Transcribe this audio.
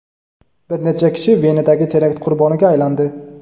Bir necha kishi Venadagi terakt qurboniga aylandi.